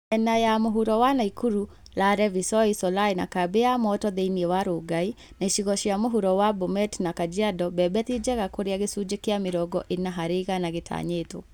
Miena ya mũhuro ya Nakuru (Lare, Visoi, Solai na Kambi ya Moto thĩinĩ wa Rongai) na icigo cia mũhuro cia Bomet na Kajiado , mbembe ti njega kũrĩa gĩcunjĩ kĩa mĩrongo ĩna harĩ igana gĩtanyĩtwo